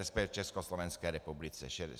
Resp. Československé republice.